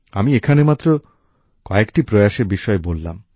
আমি এখানে মাত্র কয়েকটি প্রয়াসের বিষয়েই বললাম